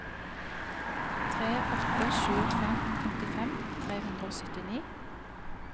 tre åtte sju fem femtifem tre hundre og syttini